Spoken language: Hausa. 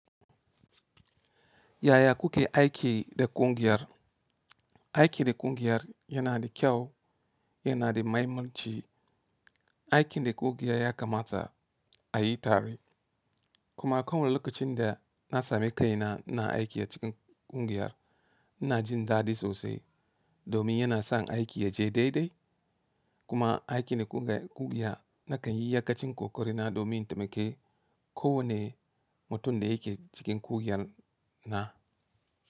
Yaya kuke aiki da ƙungiyar? Aiki da ƙungiyar yana da kyau, yana da mahimmanci. Aikin da ƙungiya ya kamata a yi tare. Kuma ako wani lokacin da na samu kai na, ina aiki a cikin ƙungiyar, ina jin dadi sosai domin yana san aiki yaje daidai. Kuma aiki na ƙungiya nakan yi iya kacin kokarina domin taimaki kowanne mutum da yake cikin ƙungiyar na.